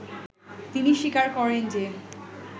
তিনি স্বীকার করেন যে